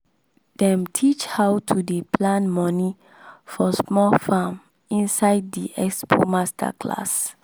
dem teach how to dey plan money for small farm inside di expo masterclass